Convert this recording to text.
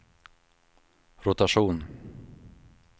rotation